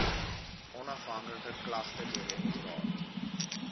onafhanklike klagtedirektoraat